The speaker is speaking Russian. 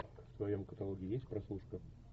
в твоем каталоге есть прослушка